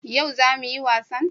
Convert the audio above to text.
Yau za mu yi wasan?